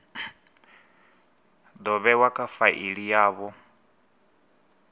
do vhewa kha faili yavho